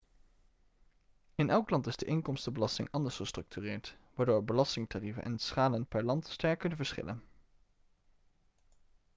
in elk land is de inkomstenbelasting anders gestructureerd waardoor belastingtarieven en schalen per land sterk kunnen verschillen